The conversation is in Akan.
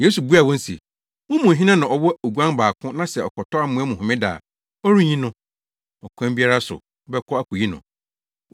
Yesu buaa wɔn se, “Mo mu hena na ɔwɔ oguan baako na sɛ ɔkɔtɔ amoa mu Homeda a, ɔrenyi no? Ɔkwan biara so wobɛkɔ akoyi no.